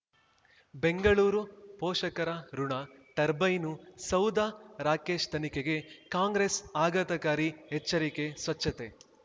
ಬೆಂಗಳೂರು ಪೋಷಕರಋಣ ಟರ್ಬೈನು ಸೌಧ ರಾಕೇಶ್ ತನಿಖೆಗೆ ಕಾಂಗ್ರೆಸ್ ಆಘಾತಕಾರಿ ಎಚ್ಚರಿಕೆ ಸ್ವಚ್ಛತೆ